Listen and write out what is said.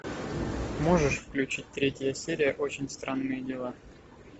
можешь включить третья серия очень странные дела